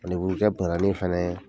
Ani fana ye